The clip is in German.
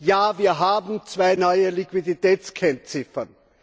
Ja, wir haben zwei neue Liquiditätskennziffern.